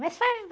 Mas foi...